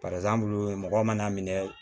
Barisa an bolo mɔgɔ mana minɛ